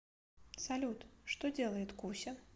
салют что делает куся